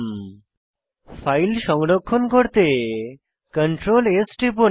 তারপর ফাইল সংরক্ষণ করতে Ctrl S টিপুন